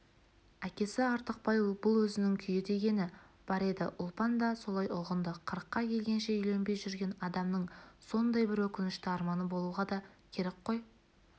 әкесі артықбай бұл өзінің күйі дегені бар еді ұлпан да солай ұғынды қырыққа келгенше үйленбей жүрген адамның сондай бір өкінішті арманы болуға да керек қой